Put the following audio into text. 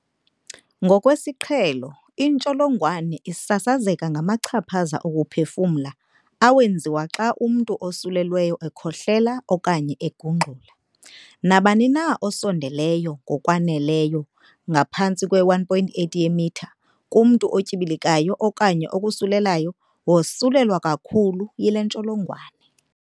Ngokwesiqhelo, intsholongwane isasazeka ngamachaphaza okuphefumla awenziwa xa umntu osulelweyo ekhohlela okanye egungxula. Nabani na osondeleyo ngokwaneleyo, ngaphantsi kwe-1.8 yeemitha, kumntu otyibilikayo okanye okosulelayo wosulelwa kakhulu yile ntsholongwane.